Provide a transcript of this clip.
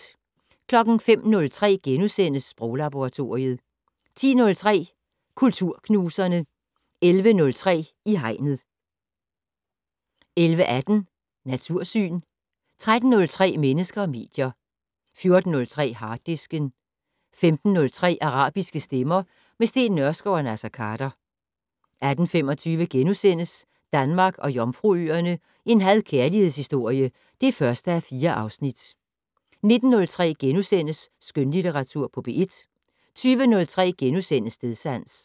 05:03: Sproglaboratoriet * 10:03: Kulturknuserne 11:03: I Hegnet 11:18: Natursyn 13:03: Mennesker og medier 14:03: Harddisken 15:03: Arabiske stemmer - med Steen Nørskov og Naser Khader 18:25: Danmark og Jomfruøerne - en had/kærlighedshistorie (1:4)* 19:03: Skønlitteratur på P1 * 20:03: Stedsans *